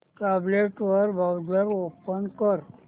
tablet वर browser open कर